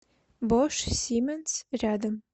бош сименс рядом